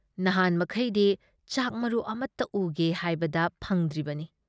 ꯅꯍꯥꯟꯃꯈꯩꯗꯤ ꯆꯥꯛ ꯃꯔꯨ ꯑꯃꯠꯇ ꯎꯒꯦ ꯍꯥꯏꯕꯗ ꯐꯪꯗ꯭ꯔꯤꯕꯅꯤ ꯫